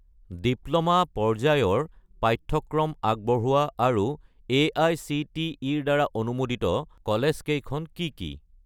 Diploma পৰ্যায়ৰ পাঠ্যক্ৰম আগবঢ়োৱা আৰু এআইচিটিই-ৰ দ্বাৰা অনুমোদিত মহাবিদ্যালয়কেইখন কি কি?